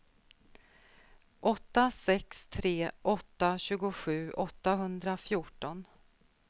åtta sex tre åtta tjugosju åttahundrafjorton